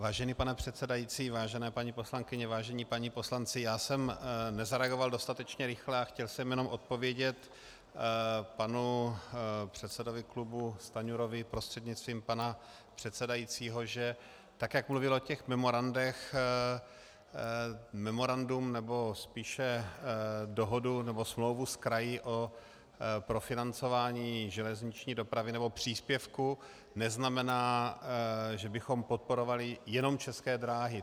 Vážený pane předsedající, vážené paní poslankyně, vážení páni poslanci, já jsem nezareagoval dostatečně rychle a chtěl jsem jenom odpovědět panu předsedovi klubu Stanjurovi prostřednictvím pana předsedajícího, že tak jak mluvil o těch memorandech, memorandum, nebo spíše dohodu nebo smlouvu s kraji o profinancování železniční dopravy nebo příspěvku neznamená, že bychom podporovali jenom České dráhy.